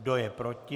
Kdo je proti?